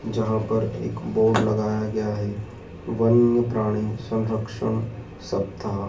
यहां पर एक बोर्ड लगाया गया है वन्य प्राणी संरक्षण सप्ताह।